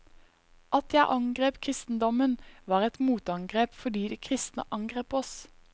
At jeg angrep kristendommen, var et motangrep fordi de kristne angrep oss.